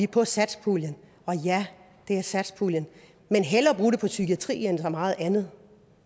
på satspuljen og ja det er satspuljen men hellere bruge det på psykiatri end så meget andet